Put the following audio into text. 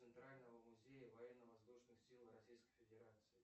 центрального музея военно воздушных сил российской федерации